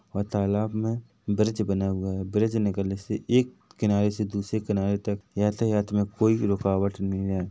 और तालाब मे ब्रिज बना हुआ हैं ब्रिज निकालने से एक किनारे से दूसरे किनारे तक यातायात मे कोई भी रूकावट नहीं हैं।